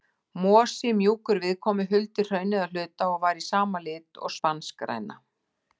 Mosi, mjúkur viðkomu, huldi hraunið að hluta, og var í sama lit og spanskgræna.